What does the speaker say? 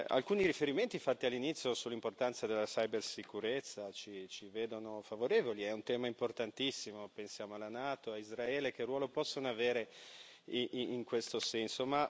Alcuni riferimenti fatti all'inizio sull'importanza della cibersicurezza ci vedono favorevoli è un tema importantissimo, pensiamo alla NATO, a Israele, a che ruolo possono avere in questo senso.